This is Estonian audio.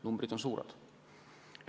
Numbrid on suured.